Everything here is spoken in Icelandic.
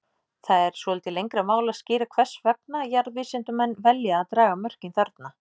Það er svolítið lengra mál að skýra hvers vegna jarðvísindamenn velja að draga mörkin þarna.